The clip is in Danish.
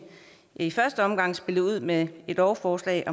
i første omgang spillede ud med et lovforslag